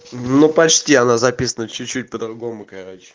ну почти она записана чуть-чуть по-другому короче